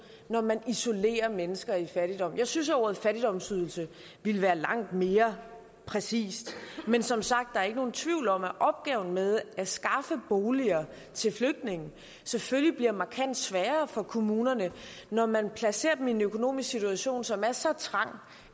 når man isolerer mennesker i fattigdom jeg synes at ordet fattigdomsydelse ville være langt mere præcist men som sagt er der ikke nogen tvivl om at opgaven med at skaffe boliger til flygtninge selvfølgelig bliver markant sværere for kommunerne når man placerer dem i en økonomisk situation som er så trang